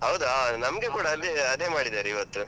ಹೌದಾ ಅದೇ ಅದೇ ಮಾಡಿದಾರೆ ಇವತ್ತು.